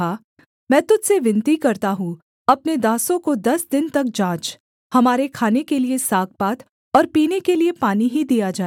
मैं तुझ से विनती करता हूँ अपने दासों को दस दिन तक जाँच हमारे खाने के लिये सागपात और पीने के लिये पानी ही दिया जाए